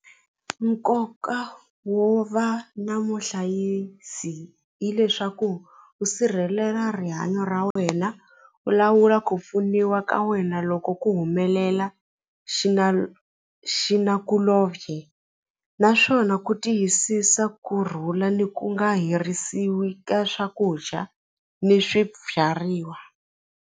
Nkoka wo va na muhlayisi hileswaku u sirhelela rihanyo ra wena u lawula ku pfuniwa ka wena loko ku humelela xinakulobye naswona ku tiyisisa kurhula le ku nga herisiwi ka swakudya ni swibyariwa.